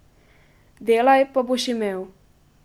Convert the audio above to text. Delaj, pa boš imel.